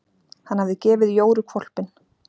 Hann hafði gefið Jóru hvolpinn.